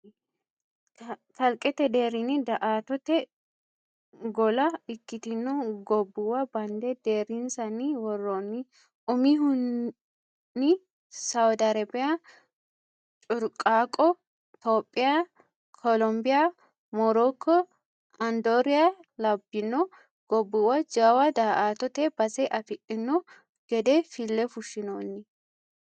Kalqete deerrini daa"attote golla ikkittino gobbuwa bande deerrinsanni woronni umihunni sawadi Arabe, curaqao, Tophiya ,Kolobiya, Moroko, Anidora labbino gobbuwa jawa daa"attote base afidhino gede fille fushinonni.